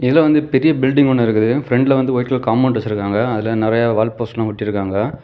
இதுல வந்து பெரிய பில்டிங் ஒன்னு இருக்கு பிராண்ட்ல வந்து ஒயிட் கலர் காம்பவுண்ட் வச்சிருக்காங்க அதுல நெறைய வால்போஸ்டர்லா ஒட்டிருக்காங்க.